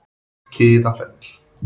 Kiðafelli